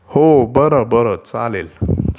हो बरं बरं चालेल....